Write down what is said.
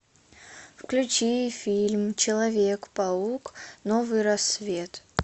включи фильм человек паук новый рассвет